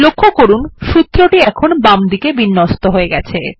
লক্ষ্য করুন সূত্রটি এখন বামদিকে বিন্যস্ত হয়ে গেছে